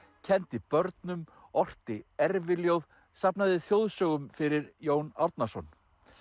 kenndi börnum orti erfiljóð safnaði þjóðsögum fyrir Jón Árnason